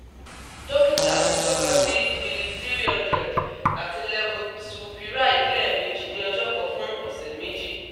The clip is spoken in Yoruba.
Dókítà mí tọ́ka sí Udiliv 300 àti Levosulpiride lẹ́ẹ̀mejì ní ọjọ́ kan fún ọ̀sẹ̀ méjì